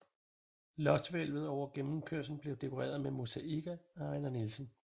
Loftshvælvet over gennemkørslen blev dekoreret med mosaikker af Ejnar Nielsen